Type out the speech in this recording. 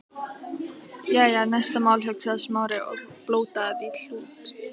Jæja, næsta mál, hugsaði Smári, og blótaði því hlut